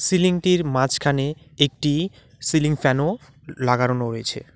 সিলিংটির মাঝখানে একটি সিলিং ফ্যানও লাগারোনো রয়েছে।